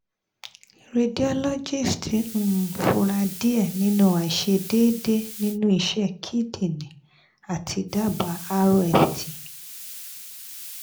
radiologist um fura diẹ ninu aiṣedede ninu iṣẹ kidney ati daba rft